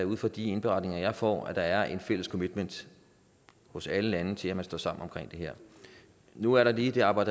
er ud fra de indberetninger jeg får at der er en fælles commitment hos alle lande til at man står sammen om det her nu er der lige det aber